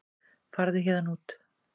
Farðu héðan út.